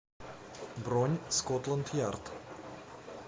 бронь скотланд ярд